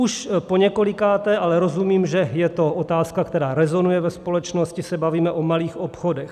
Už poněkolikáté ale rozumím, že je to otázka, která rezonuje, ve společnosti se bavíme o malých obchodech.